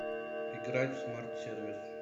играть в смарт сервис